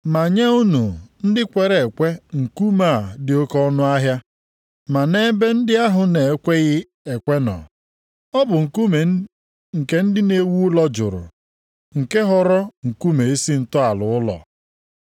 Ma nye unu ndị kwere ekwe nkume a dị oke ọnụahịa, ma nʼebe ndị ahụ na-ekweghị ekwe nọ, “Ọ bụ nkume nke ndị na-ewu ụlọ jụrụ nke ghọrọ nkume isi ntọala ụlọ.” + 2:7 \+xt Abụ 118:22\+xt*